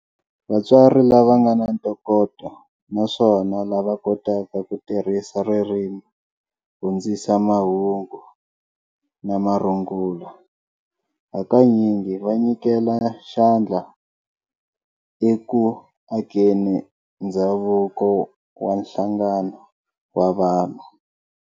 Vatsari lava ngana ntokoto naswona lava kotaka ku tirhisa ririmi hundzisa mahungu na marungula, hakanyingi va nyikela xandla e ku akeni ndzhavuko wa nhlangano wa vanhu.